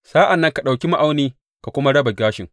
Sa’an nan ka ɗauki ma’auni ka kuma raba gashin.